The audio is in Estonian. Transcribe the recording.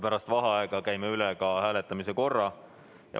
Pärast vaheaega käime üle ka hääletamise korra.